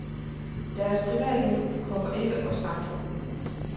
Deres privatliv kommer ikke os andre ved.